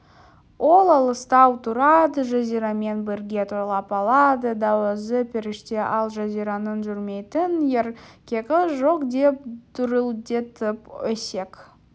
ол алыстау тұрады жазирамен бірге тойлап алады да өзі періште ал жазираның жүрмейтін еркегі жоқ деп дүрілдетіп өсек